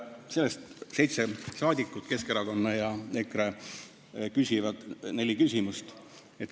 Seitse rahvasaadikut Keskerakonnast ja EKRE-st küsivad neli küsimust.